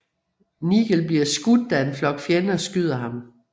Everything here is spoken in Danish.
Nigel bliver skudt da en flok fjender skyder ham